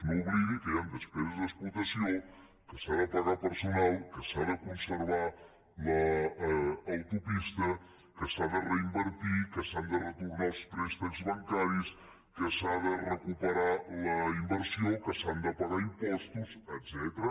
no oblidi que hi han despeses d’explotació que s’ha de pagar personal que s’ha de conservar l’autopista que s’ha de reinvertir que s’han de retornar els préstecs bancaris que s’ha de recuperar la inversió que s’han de pagar impostos etcètera